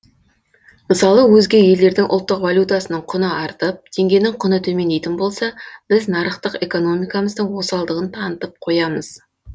мысалы өзге елдердің ұлттық валютасының құны артып теңгенің құны төмендейтін болса біз нарықтық экономикамыздың осалдығын танытып қоямыз